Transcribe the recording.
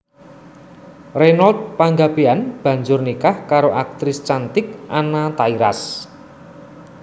Reynold Panggabean banjur nikah karo aktris cantik Anna Tairas